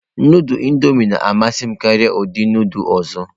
Nudulu Indọmịị na-amasị m karịa ụdị nudulu ọzọ.